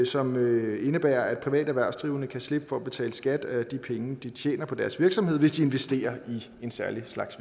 som indebærer at private erhvervsdrivende kan slippe for at betale skat af de penge de tjener på deres virksomhed hvis de investerer i en særlig slags